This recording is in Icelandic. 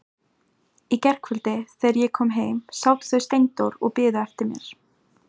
Í gærkvöldi þegar ég kom heim sátu þau Steindór og biðu eftir mér.